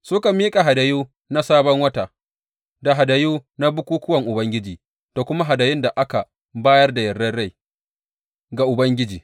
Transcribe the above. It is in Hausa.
Suka miƙa hadayu na Sabon Wata, da hadayu na bukukkuwan Ubangiji, da kuma hadayun da aka bayar da yardar rai ga Ubangiji.